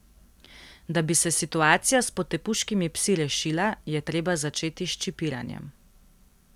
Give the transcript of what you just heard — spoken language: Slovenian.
Da bi se situacija s potepuškimi psi rešila, je treba začeti s čipiranjem.